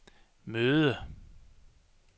møde